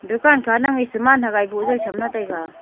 dukan kha nang e saman thagae boh jaw chamla taiga .